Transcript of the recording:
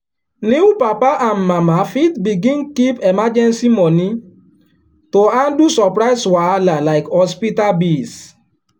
new papa and mama fit begin keep emergency money to handle surprise wahala like hospital bills.